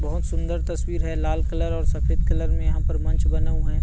बहुत सुंदर तस्वीर है लाल कलर और सफेद कलर में यहाँ पर मंच बना हुआ है।